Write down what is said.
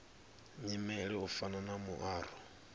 nyimele u fana na muaro